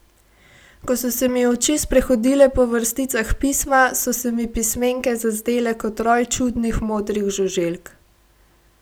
Ko so se mi oči sprehodile po vrsticah pisma, so se mi pismenke zazdele kot roj čudnih modrih žuželk.